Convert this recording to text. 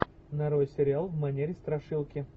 нарой сериал в манере страшилки